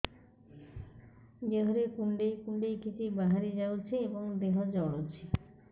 ଦେହରେ କୁଣ୍ଡେଇ କୁଣ୍ଡେଇ କିଛି ବାହାରି ଯାଉଛି ଏବଂ ଦେହ ଜଳୁଛି